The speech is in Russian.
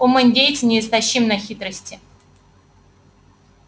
ум индейца неистощим на хитрости